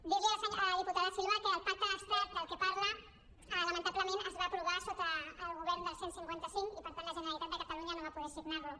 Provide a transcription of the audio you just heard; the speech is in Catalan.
dir li a la diputada silva que el pacte d’estat del que parla lamentablement es va aprovar sota el govern del cent i cinquanta cinc i per tant la generalitat de catalunya no va poder signar lo